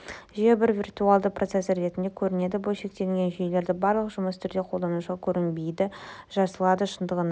жүйе бір виртуалды процессор ретінде көрінеді бөлшектелген жүйелерде барлық жұмыс түрде қолданушыға көрінбей жасалады шындығында